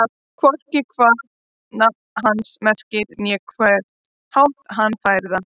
Hvorki hvað nafn hans merkir né á hvern hátt hann fær það.